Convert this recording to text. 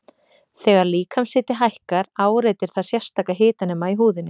Þegar líkamshiti hækkar áreitir það sérstaka hitanema í húðinni.